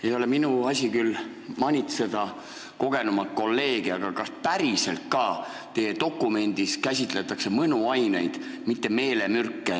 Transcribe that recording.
Ei ole küll minu asi manitseda kogenumat kolleegi, aga kas päriselt ka käsitletakse teie dokumendis mõnuaineid, mitte meelemürke?